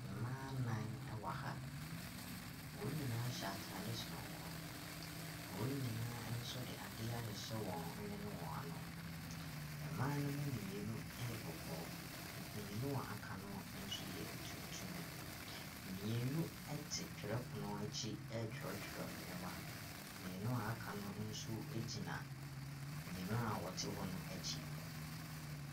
Mmaa nnan wɔ ha, wɔn nyina hyɛ ataade sononko, wɔn nyinaa nso de adeɛ ahyɛ wɔn hwene ne wɔn ano. Mmaa ne mu mmienu yɛ kɔkɔɔ, mmienu aka no nso yɛ tuntum. Mmienu te twerɛpono akyi ɛretwerɛtwerɛ nneɛma, mmienu aka no nso gyina mmienu a wɔte hɔ no akyi.